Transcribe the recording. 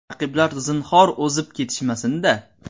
Raqiblar zinhor o‘zib ketishmasin-da!